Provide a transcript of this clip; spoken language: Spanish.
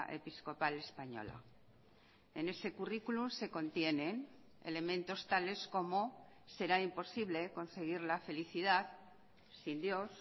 episcopal española en ese currículum se contiene elementos tales como será imposible conseguir la felicidad sin dios